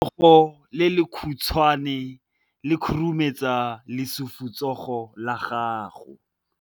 Letsogo le lekhutshwane le khurumetsa lesufutsogo la gago.